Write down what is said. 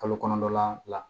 Kalo kɔnɔntɔn la